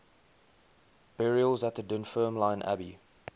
burials at dunfermline abbey